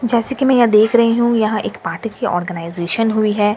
जैसे की मैं यहाँ देख रही हूँ यहाँ एक पार्टी की ऑर्गनाइजेसन हुई है।